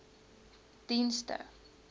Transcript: dienste